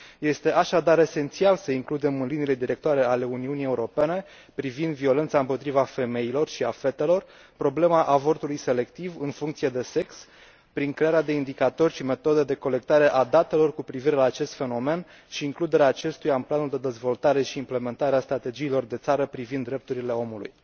Este așadar esențial să includem în liniile directoare ale Uniunii Europene privind violența împotriva femeilor și a fetelor problema avortului selectiv în funcție de sex, prin crearea de indicatori și metode de colectare a datelor cu privire la acest fenomen și includerea acestuia în planul de dezvoltare și implementare a strategiilor de țară privind drepturile omului.